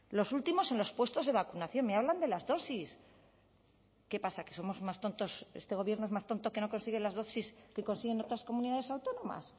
los últimos en los puestos de vacunación me hablan de las dosis qué pasa que somos más tontos este gobierno es más tonto que no consigue las dosis que consiguen otras comunidades autónomas